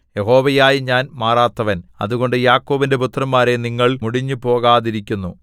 യഹോവയായ ഞാൻ മാറാത്തവൻ അതുകൊണ്ട് യാക്കോബിന്റെ പുത്രന്മാരേ നിങ്ങൾ മുടിഞ്ഞുപേകാതിരിക്കുന്നു